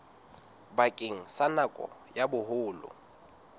bakeng sa nako ya boholo